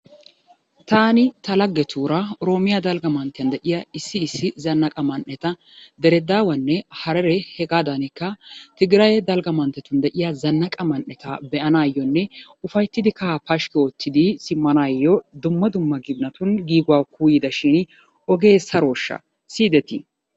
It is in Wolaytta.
Taani ta laggetuura oroomiya dalgga manttiya issi issi zannaqa man'eta diredaawanne harere hegaadaanikka tigiraye dalgga manttetun de'iya dalgga man'eta be'anaayyoonne ufayittidi kkahaa pashkki oottidi simmanaayyoo dumma dumma ginatun giiguwa kuuyyidashin ogee sarooshsha siyidetii?